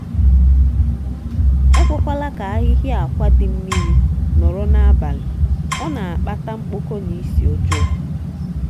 ekwekwala ka ahịhịa akwa dị mmiri nọrọ n'abalị ọ na-akpata mkpọkọ na isi ọjọọ.